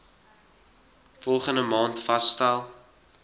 volgende maand vasgestel